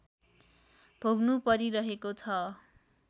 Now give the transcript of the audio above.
भोग्नु परिरहेको छ